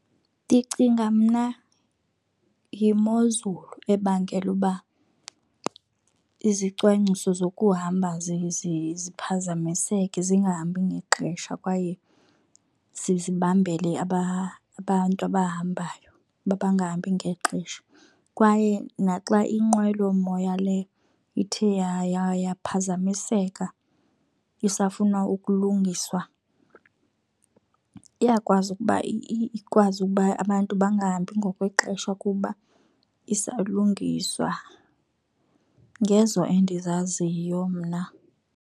Ndicinga mna yimozulu ebangela uba izicwangciso zokuhamba ziphazamiseke, zingahambi ngexesha, kwaye zibambele aba abantu abahambayo uba bangahambi ngexesha. Kwaye naxa inqwelomoya le ithe yaphazamiseka isafuna ukulungiswa, iyakwazi ukuba ikwazi ukuba abantu bangahambi ngokwexesha kuba isalungiswa. Ngezo endizaziyo mna.